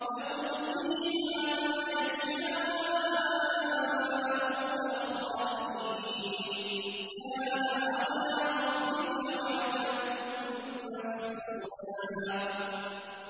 لَّهُمْ فِيهَا مَا يَشَاءُونَ خَالِدِينَ ۚ كَانَ عَلَىٰ رَبِّكَ وَعْدًا مَّسْئُولًا